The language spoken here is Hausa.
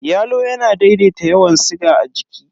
Yalo yana daidaita yawan siga a jiki.